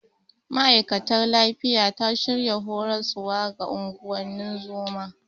Ma'aikatar lafiya ta shirya horaswa ga unguwannin zoma.